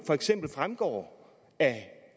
for eksempel fremgår af